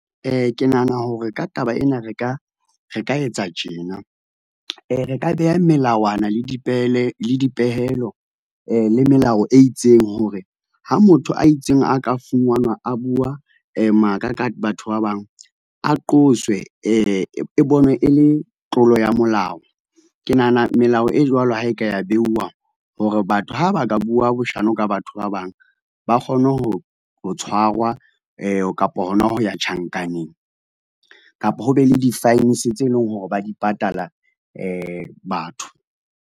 Ke nahana hore ka taba ena re ka etsa tjena, re ka beha melawana le dipehelo le melao e itseng hore ha motho a itseng a ka fumanwa a bua maka ka batho ba bang a qoswe e bonwe e le tlolo ya molao. Ke nahana melao e jwalo ha e ka ya beuwa hore batho ha ba ka bua boshano ka batho ba bang, ba kgone ho tshwarwa, kapo hona ho ya tjhankaneng, kapo ho be le di-fines tse leng hore ba di patala batho.